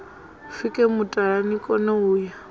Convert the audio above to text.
pfuke mutala nikone u ya